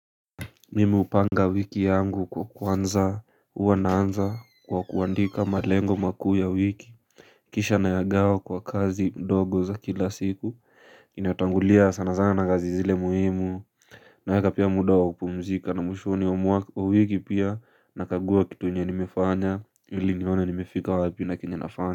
Mimi upanga wiki yangu kwa kwanza, hua naanza kwa kuandika malengo makuu ya wiki Kisha nayagawa kwa kazi ndogo za kila siku inatangulia sana sana na gazi zile muhimu naeka pia muda wa kupumzika na mwishoni wa mwa wa wiki pia nakagua kitu yenye nimefanya, ili nione nimefika wapi na kilenafanya.